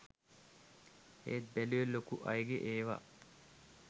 ඒත් බැලුවේ ලොකු අයගේ ඒව